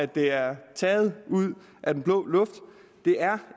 det er taget ud af den blå luft det er